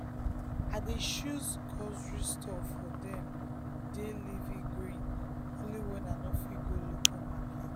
i dey choose grocery store for dem dey leafy greens only when i no fit go local market.